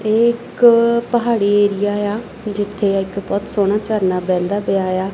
ਏਹ ਇੱਕ ਪਹਾੜੀ ਏਰੀਆ ਯਾ ਜਿੱਥੇ ਇੱਕ ਬੋਹੁਤ ਸੋਹਣਾ ਝਰਨਾ ਬਹਿੰਦਾ ਪਿਆ ਯਾ।